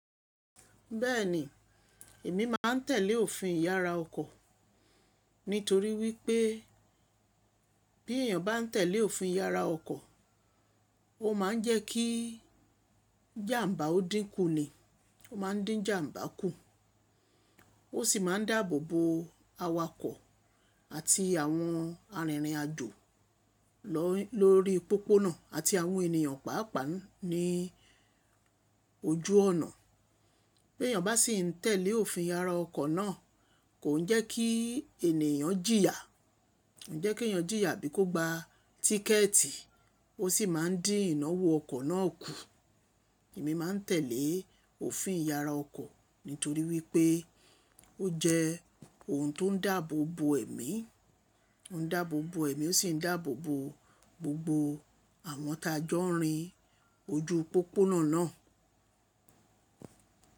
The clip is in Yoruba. Bẹ́ẹ̀ni, –èmi má a n tèlé òfin ìyára ọkọ̀— nítorí wípé —bí èèyàn bá n tèlé òfin ìyára ọkọ̀, —ó ma n jẹ́ kí jàmbá ó dínkù ni, —ó ma n dín jàmbá kù. Ó sì ma n dáàbò bo awakọ̀ àti àwọn arìnrìn àjò —lórí pópónà àti àwọn ènìyàn pàápàá ní— ojú ọ̀nà. Bèèyàn bá sì n tèlé òfin ìyára ọkọ̀ náà— kò n jẹ́ kí ènìyàn jìyà.— N jẹ́ kí èèyàn jìyà bí kò gba— tíkẹ̀ẹ̀tì, —ó sì ma n dín ìnáwó ọkọ̀ náà kù. Èmi má a n tèlé —òfin ìyára ọkọ̀ —nítorí wípé ó jẹ́ ohun tó n dáàbò bo ẹ̀mí,– ó n dáàbò bo ẹ̀mí ó sì n dáàbò bo– gbogbo àwọn tájọ́ nrín– ojú pópónà náà.